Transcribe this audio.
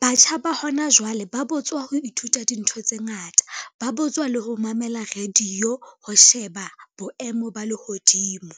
Batjha ba hona jwale ba botswa ho ithuta dintho tse ngata, ba botswa le ho mamela radio, ho sheba boemo ba lehodimo.